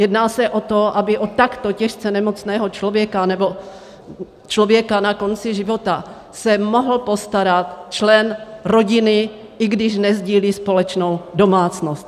Jedná se o to, aby o takto těžce nemocného člověka nebo člověka na konci života se mohl postarat člen rodiny, i když nesdílí společnou domácnost.